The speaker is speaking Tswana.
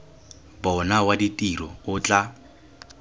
bona wa ditiro o tla